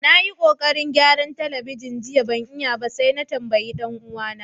Na yi kokarin gyaran telibijin jiya ban iya ba sai na tambaye dan uwa na.